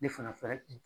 Ne fana fɛ